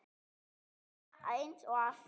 Aleina, eins og alltaf.